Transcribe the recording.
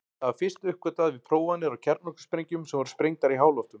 Það var fyrst uppgötvað við prófanir á kjarnorkusprengjum sem sprengdar voru í háloftum.